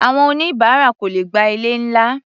Àwọn oníbáárà kò lè gba ilé-ńlá.